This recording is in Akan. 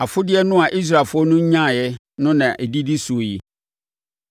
Afodeɛ no a Israelfoɔ no nyaa no na ɛdidi soɔ yi: